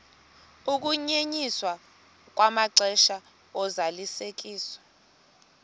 ukunyenyiswa kwamaxesha ozalisekiso